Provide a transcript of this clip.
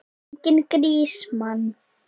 Enginn grís, mann!